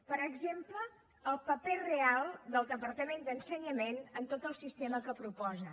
per exemple el paper real del departament d’ensenyament en tot el sistema que proposen